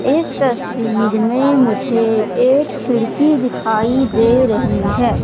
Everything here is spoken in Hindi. इस तस्वीर में मुझे एक खिड़की दिखाई दे रही है।